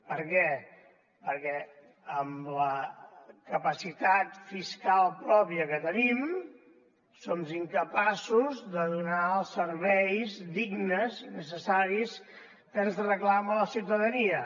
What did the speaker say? per què perquè amb la capacitat fiscal pròpia que tenim som incapaços de donar els serveis dignes i necessaris que ens reclama la ciutadania